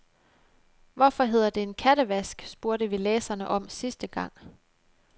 Hvorfor hedder det en kattevask, spurgte vi læserne om sidste gang.